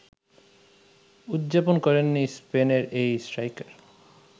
উদযাপন করেননি স্পেনের এই স্ট্রাইকার